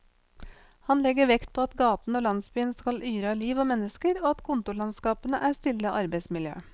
Han legger vekt på at gaten og landsbyen skal yre av liv og mennesker, og at kontorlandskapene er stille arbeidsmiljø.